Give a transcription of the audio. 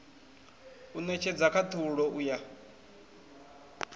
u netshedza khathulo u ya